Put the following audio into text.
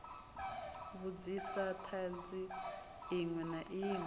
vhudzisa thanzi inwe na inwe